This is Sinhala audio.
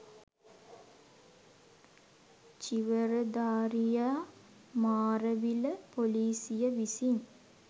චීවරධාරියා මාරවිල පොලීසිය විසින්